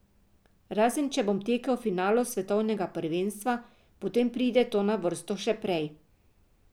Razen če bom tekel v finalu svetovnega prvenstva, potem pride to na vrsto še prej.